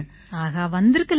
ஆஹா வந்திருக்கலாமே